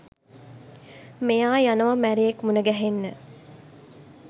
මෙයා යනවා මැරයෙක් මුනගැහෙන්න.